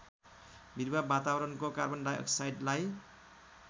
बिरुवा वातावरणको कार्बनडाईअक्साइडलाई